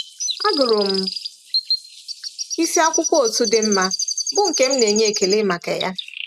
Agụrụ m isi akwụkwọ otu dị mma, bụ́ nke m na-enye ekele maka ya.